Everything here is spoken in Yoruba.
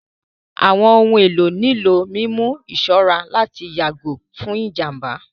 Àwọn ohun èlò nílò mímú ìṣọ́ra láti yàgò fún ìjàmbá